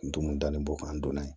N dumunda bɔ ka nan